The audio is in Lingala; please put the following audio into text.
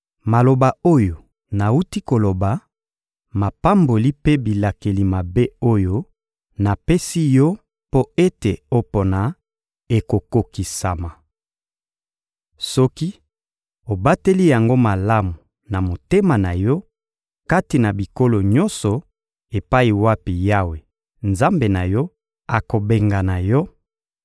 Maloba oyo nawuti koloba, mapamboli mpe bilakeli mabe oyo napesi yo mpo ete opona, ekokokisama. Soki obateli yango malamu na motema na yo kati na bikolo nyonso epai wapi Yawe, Nzambe na yo, akobengana yo;